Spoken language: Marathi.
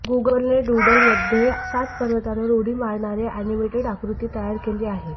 गूगलने डूडलमध्ये सात पर्वतांवर उडी मारणारे अॅनिमेटेड आकृती तयार केली आहे